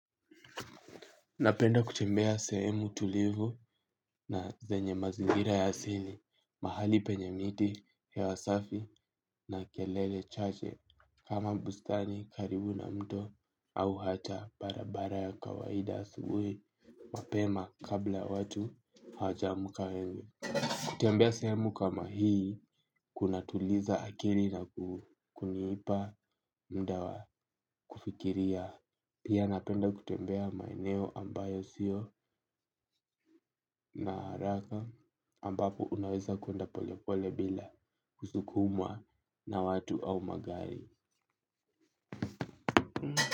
Napenda kutembea sehemu tulivu na zenye mazingira ya asili, mahali penye miti, hewa safi na kelele chache, kama bustani karibu na mto au hata barabara ya kawaida asubui, mapema kabla watu hajamka wengi. Kutembea sehemu kama hii, kunatuliza akili na kuniipa muda wa kufikiria. Pia napenda kutembea maeneo ambayo sio na haraka ambapo unaweza kuenda pole pole bila kusukumwa na watu au magari.